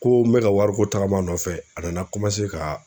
Ko n bɛ ka wariko tagama a nɔfɛ a nana ka.